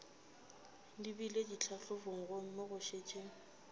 lebile ditlhahlobong gomme go šetše